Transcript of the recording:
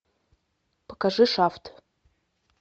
покажи шафт